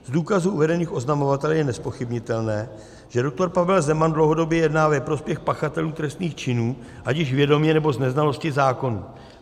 Z důkazů uvedených oznamovateli je nezpochybnitelné, že JUDr. Pavel Zeman dlouhodobě jedná ve prospěch pachatelů trestných činů, ať již vědomě, nebo z neznalosti zákonů.